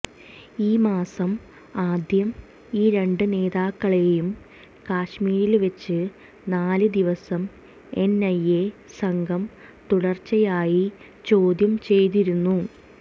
ഈമാസം ആദ്യം ഈ രണ്ട് നേതാക്കളെയും കശ്മീരില് വെച്ച് നാല് ദിവസം എന്ഐഎ സംഘം തുടര്ച്ചയായി ചോദ്യം ചെയ്തിരുന്നു